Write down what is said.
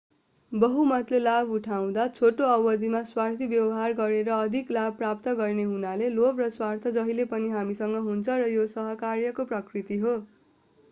बहुमतले लाभ उठाउँदा छोटो अवधिमा स्वार्थी व्यवहार गरेर अधिक लाभ प्राप्त गर्ने हुनाले लोभ र स्वार्थ जहिले पनि हामीसँग हुन्छ र यो सहकार्यको प्रकृति हो